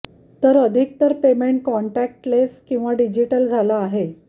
तर अधिकतर payment contactless किंवा डिजिटल झालं आहे